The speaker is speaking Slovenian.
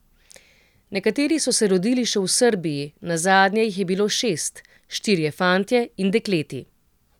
Nekateri so se rodili še v Srbiji, nazadnje jih je bilo šest: 'Štirje fantje in dekleti.